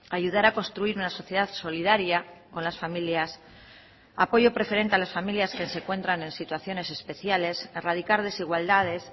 ayudar a construir una sociedad solidaria con las familias apoyo preferente a las familias que se encuentran en situaciones especiales erradicar desigualdades